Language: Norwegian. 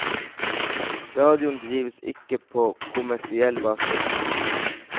Radioen drives ikke på kommersiell basis.